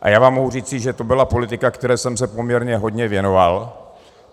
A já vám mohu říci, že to byla politika, které jsem se poměrně hodně věnoval.